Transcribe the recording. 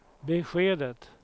beskedet